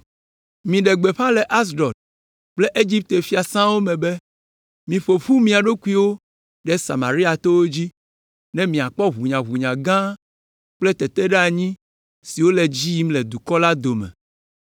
Miɖe gbeƒã le Asdod kple Egipte fiasãwo me be, “Miƒo ƒu mia ɖokuiwo ɖe Samaria towo dzi, ne miakpɔ ʋunyaʋunya gã kple teteɖeanyi siwo le edzi yim le dukɔ la dome.”